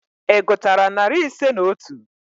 Ị gụtara narị ise na otu?